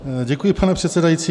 Děkuji, pane předsedající.